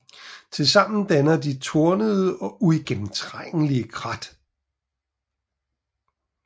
Tilsammen danner de tornede og uigennemtrængelige krat